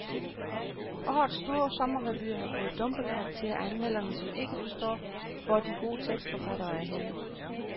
Årets store sommerrevyer har fået dumpekarakterer af anmelderne, som ikke forstår, hvor de gode tekstforfattere er henne.